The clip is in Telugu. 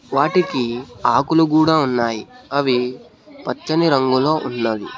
వాటికీ ఆకులు గూడ ఉన్నాయి అవి పచ్చని రంగులో ఉన్నవి.